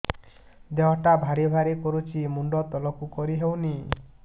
ଦେହଟା ଭାରି ଭାରି କରୁଛି ମୁଣ୍ଡ ତଳକୁ କରି ହେଉନି